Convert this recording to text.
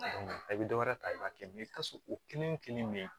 I bɛ dɔ wɛrɛ ta i b'a kɛ mɛ i bɛ taa sɔrɔ o kelen wo kelen bɛ yen